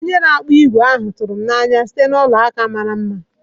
Onye na-akpụ ígwè ahụ tụrụ m n'anya site na bangle mara mma.